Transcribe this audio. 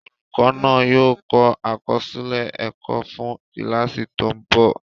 Olùkọ́ náà yóò kọ àkọsílẹ̀ ẹ̀kọ́ fún kíláàsì tó ń bọ̀